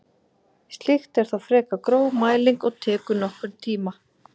Slíkt er þó frekar gróf mæling og tekur nokkurn tíma.